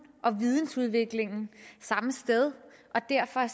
og vidensudviklingen samme sted og derfor er